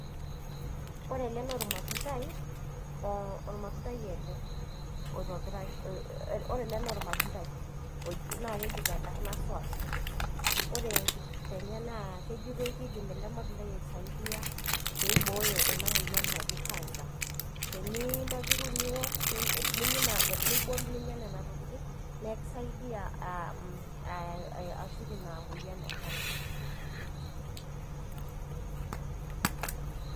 ore ele naa ormatundai. ormatundai ele oitobiraki. naa keji tenkarna soaso. ore enkipirta enye, kejitoi keidim ele matundai aisaidia pee eibooyo ena moyian naji cancer teniyieu nintobiru niok, ninyian ina nibol niok ninyia nena tokitin naa ekisaidia ashuk ina moyian e cancer.